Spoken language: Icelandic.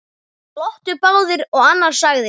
Glottu báðir og annar sagði: